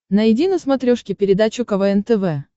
найди на смотрешке передачу квн тв